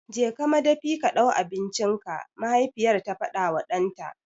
Je ka madafi ka ɗau abincinka! mahaifiyar ta faɗawa ɗanta.